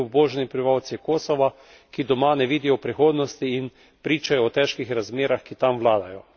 Tudi v Sloveniji obstajajo številni obubožani prebivalci Kosova, ki doma ne vidijo prihodnosti in pričajo o težkih razmerah, ki tam vladajo.